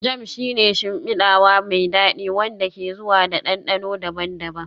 Jam shi ne shimfidawa mai dadi wanda ke zuwa da dandano daban-daban